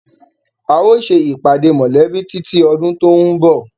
A ó ṣe ìpàdé mọ́lẹ̀bi títí ọdún tòun bọ̀.